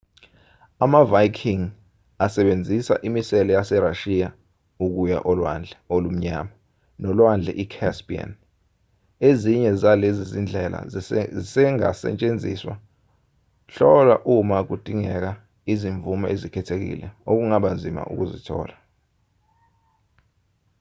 ama-viking asebenzisa imisele yaserashiya ukuya olwandle olumnyama nolwandle i-caspian ezinye zalezi zindlela zisengasetshenziswa hlola uma kudingeka izimvume ezikhethekile okungaba nzima ukuzithola